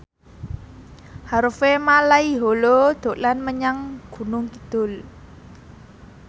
Harvey Malaiholo dolan menyang Gunung Kidul